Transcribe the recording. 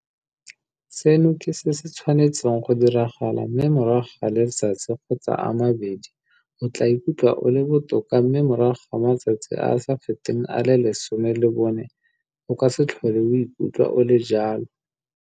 Seno ke se se tshwanetseng go diragala mme morago ga letsatsi kgotsa a mabedi o tla ikutlwa o le botoka mme morago ga matsatsi a a sa feteng a le 14 o ka se tlhole o ikutlwa o le jalo.